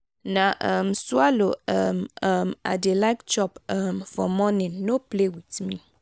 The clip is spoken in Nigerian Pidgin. na um swallow um um i dey like chop um for morning no play with me.